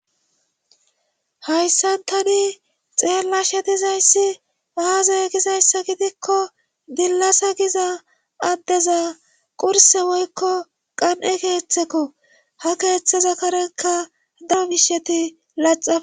Hayssan tani xeella she tizayssi aazey gizayssa gidikko dillasa giza addeza qurse woykko qan7e keeththeko ha keeththeza karekka dawu bisheti laxa